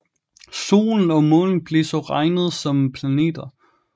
Solen og Månen blev også regnet som planeter